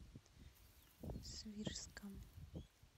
свирском